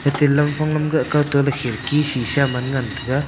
ate lamphang lamkah kaw ke khirki sisha man ngan tega.